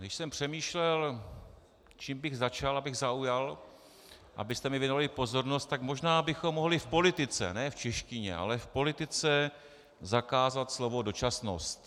Když jsem přemýšlel, čím bych začal, abych zaujal, abyste mi věnovali pozornost, tak možná bychom mohli v politice, ne v češtině, ale v politice zakázat slovo dočasnost.